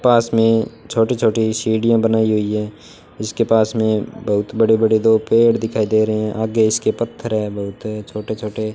पास में छोटी छोटी सीढ़ियां बनाई हुई हैं जिसके पास में बहुत बड़े बड़े दो पेड़ दिखाई दे रहे हैं आगे इसके पत्थर है बहुत छोटे छोटे।